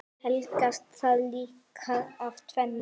Helgast það líklega af tvennu.